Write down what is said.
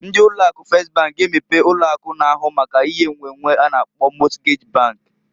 Ndị ụlọ akụ Fes bank g'emepe ụlọ akụ na-ahụ maka ihe nnwennwe a na-akpọ Mọtgej bank.